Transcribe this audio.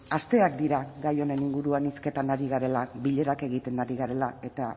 asteak dira gai honen inguruan hizketan ari garela bilerak egiten ari garela eta